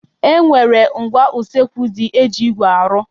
E nwere ngwá usekwu ndị e ji igwe arụ.